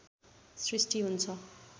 सृष्टि हुन्छ